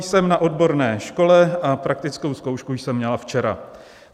"Jsem na odborné škole a praktickou zkoušku jsem měla včera.